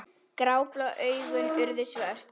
Gráblá augun urðu svört.